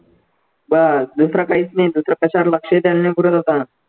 बस दुसरं काहीच नाही दुसरं कशावर लक्ष आहे त्यांनी पुढे